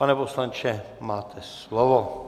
Pane poslanče, máte slovo.